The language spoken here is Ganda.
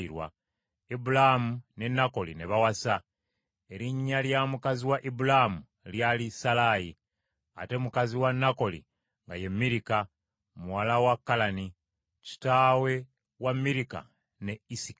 Ibulaamu ne Nakoli ne bawasa; erinnya lya mukazi wa Ibulaamu lyali Salaayi, ate mukazi wa Nakoli nga ye Mirika, muwala wa Kalani, kitaawe wa Mirika ne Isika.